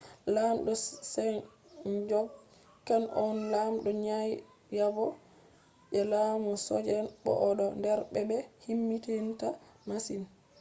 lamɗo sejong kan ko on lamdo naiyabo je laamu joseon bo o do der be-be himmidininta masin